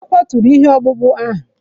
E kwaturu ihe ọkpụkpụ ahụ